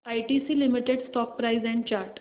ITC limited stock price and chart